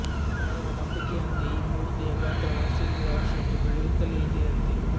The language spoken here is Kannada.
ಕೆಲವರ ನಂಬಿಕೆಯಂತೆ ಈ ಮೂರ್ತಿಯ ಗಾತ್ರ ವರ್ಷದಿಂದ ವರ್ಷಕ್ಕೆ ಬೆಳೆಯುತ್ತಲೆ ಇದೆಯಂತೆ